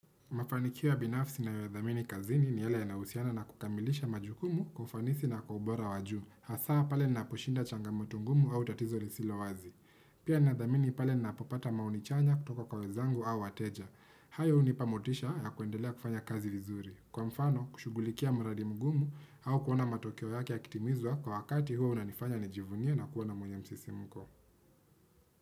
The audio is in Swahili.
Mafanikio ya binafsi nayodhamini kazini ni yale yanayohusiana na kukamilisha majukumu kufanisi na kubora wa juu. Hasaa pale naposhinda changamoto ngumu au tatizo lisilo wazi. Pia nathamini pale napopata maoni chanya kutoka kwa wezangu au wateja. Hayo hunipa motisha ya kuendelea kufanya kazi vizuri. Kwa mfano, kushugulikia muradi mgumu au kuona matokeo yake ya kitimizwa kwa wakati huo unanifanya nijivunie na kuona mwenye msisimko.